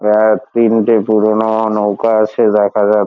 প্রায় তিনটে পুরোনো নৌকা আছে দেখা যা--